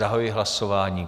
Zahajuji hlasování.